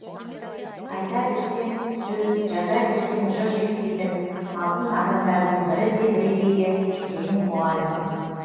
айта берсең сөз жаза берсең жыр жетпейтін алтын адамдардың бірі де бірегейі сенің мұғалімің